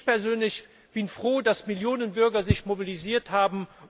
Ich persönlich bin froh, dass sich Millionen Bürger mobilisiert haben.